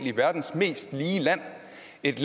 ikke